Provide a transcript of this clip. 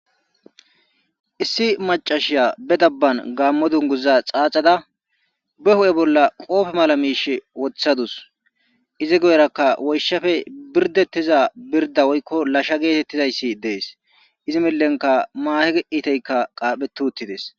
Issi macashiya be dabban gaammo dunguza xaaxada be hu'e bolla qoofe mala miish wothadus izi goyrakka woyshafe birdettiza birda woykko lashsha geetettizayssi dees izi millenka maahe iteykka qaaphetuttides.